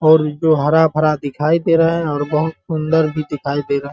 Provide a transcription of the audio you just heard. और जो हरा -भरा दिखाई दे रहा है और बहुत सुंदर भी दिखाई दे रहा है।